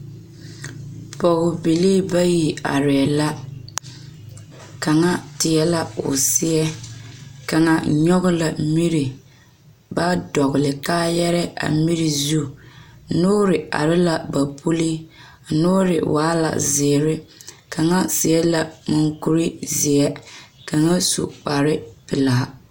Pɔgebilii bayi arɛɛ la kaŋa teɛ la o seɛ kaŋa nyɔge la miri ba dɔgle kaayɛrɛ a miri zu noore are la ba puli a noore waa la zeere kaŋa seɛ la monkurizeɛ kaŋa su kparepelaa.